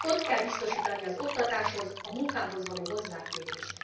Ott kell biztosítani az oktatáshoz, a munkához való hozzáférést.